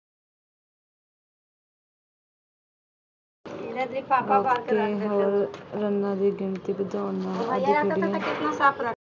ਅਤੇ ਹੋਰ ਰੰਨਾਂ ਦੀ ਗਿਣਤੀ ਵਧਾਉਣ ਨਾਲ